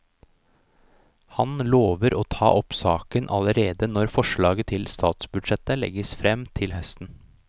Han lover å ta opp saken allerede når forslaget til statsbudsjett legges frem til høsten.